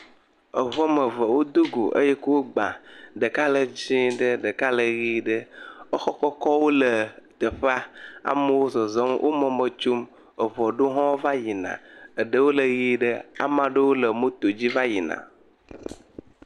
Eŋu ame eve wodogo eye kuwo gba. Ɖeka le dzẽ ɖe ɖeka le ʋee ɖe. Exɔ kɔkɔwo le teƒea. Amewo zɔzɔm. Wo mɔme tsom. Eŋu aɖewo hã va yina. Eɖewo le ʋee ɖe. Ama ɖewo le motodzi va yina.